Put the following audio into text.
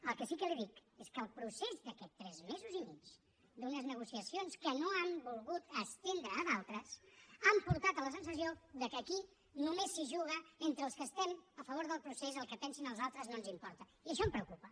el que sí que li dic és que el procés d’aquests tres mesos i mig d’unes negociacions que no han volgut estendre a d’altres han portat a la sensació que aquí només s’hi juga entre els que estem a favor del procés el que pensin els altres no ens importa i això em preocupa